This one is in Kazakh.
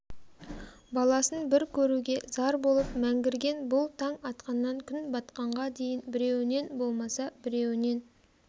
баласын бір көруге зар болып мәңгірген бұл таң атқаннан күн батқанға дейін біреуінен болмаса біреуінен